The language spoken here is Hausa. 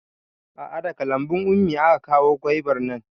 A'a daga lambun ummi aka kawo gwaibar nan